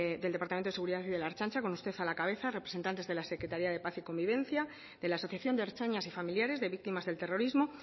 del departamento de seguridad y de la ertzaintza con usted a la cabeza representantes de la secretaría de paz y convivencia de la asociación de ertzainas y familiares de víctimas del terrorismo